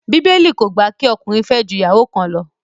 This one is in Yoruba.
Bíbélì kò gbà kí ọkùnrin fẹ́ ju ìyàwó kan lọ